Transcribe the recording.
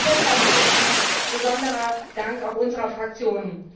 Und deshalb gilt ihm der besondere Dank auch unserer Fraktion!